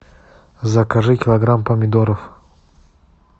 закажи килограмм помидоров